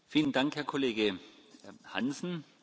Vielen Dank, Herr Kollege Hansen!